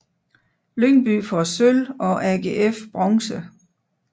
Lyngby får sølv og AGF bronze